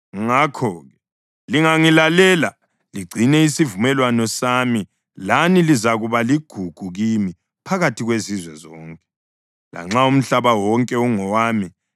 Ngakho-ke lingangilalela ligcine isivumelwano sami lani lizakuba ligugu kimi phakathi kwezizwe zonke. Lanxa umhlaba wonke ungowami,